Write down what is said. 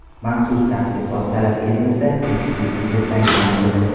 Maxsus tadqiqot talab etilsa, ekspertiza tayinlanadi.